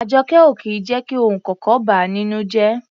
Àjọkẹ́ ò kì í jẹ́ kí ohunkóhun ó bà á nínú jẹ́.